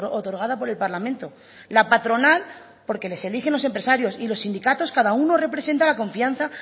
otorgada por el parlamento la patronal porque les eligen los empresarios y los sindicatos cada uno representa la confianza